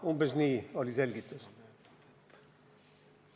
Umbes niisugune oli selgitus.